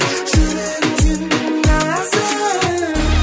жүрегің сенің нәзік